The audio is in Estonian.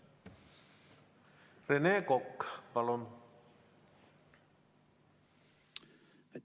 Rene Kokk, palun!